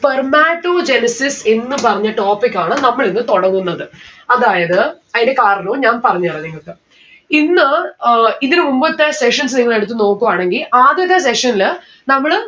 Spermatogenesis എന്ന് പറഞ്ഞ topic ആണ് നമ്മളിന്ന് തൊടങ്ങുന്നത്. അതായത് അയിന്റെ കാരണവും ഞാൻ പറഞ്ഞെരാം നിങ്ങക്ക് ഇന്ന് ഏർ ഇതിന് മുമ്പത്തെ sessions നിങ്ങളെടുത്ത് നോക്കുവാണെങ്കി ആദ്യത്തെ session ല് നമ്മള്